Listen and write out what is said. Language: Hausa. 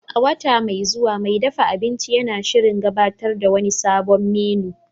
A wata mai zuwa, mai dafa abinci yana shirin gabatar da wani sabon menu